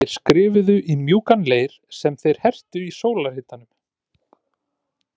Þeir skrifuðu í mjúkan leir sem þeir hertu í sólarhitanum.